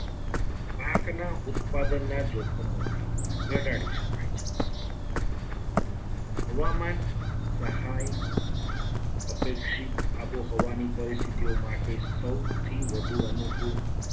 પાકના ઉત્પાદનના જોખમોને ઘટાડી શકાય છે. હવામાન સહાય અપેક્ષિત આબોહવા ની પરિસ્થિતિઓ માટે સૌથી વધુ અનુકૂળ